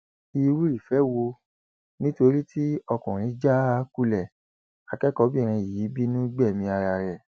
irú ìfẹ wo nítorí tí ọkùnrin já a kulẹ akẹkọọbìnrin yìí bínú gbẹmí ara ẹ